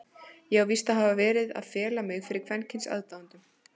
Ég á víst að hafa verið að fela mig fyrir kvenkyns aðdáendum?!